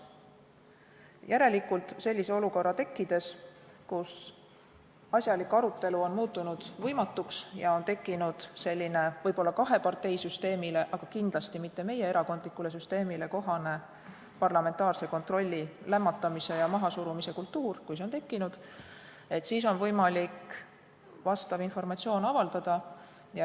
Järelikult, sellise olukorra tekkides, kus asjalik arutelu on muutunud võimatuks ja on tekkinud võib-olla kaheparteisüsteemile, aga kindlasti mitte meie erakondlikule süsteemile kohane parlamentaarse kontrolli lämmatamise ja mahasurumise kultuur, on võimalik vastav informatsioon avaldada.